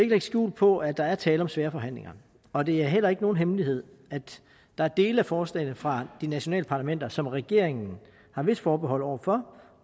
lægge skjul på at der er tale om svære forhandlinger og det er heller ikke nogen hemmelighed at der er dele af forslagene fra de nationale parlamenter som regeringen har visse forbehold over for